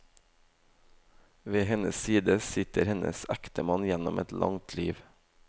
Ved hennes side sitter hennes ektemann gjennom et langt liv.